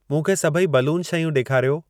मूंखे सभई बलून शयूं ॾेखारियो।